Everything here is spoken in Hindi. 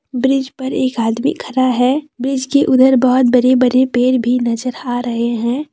ब्रीज पर एक आदमी खड़ा है ब्रिज के उधर बड़े बड़े पेड़ भी नजर आ रहे हैं।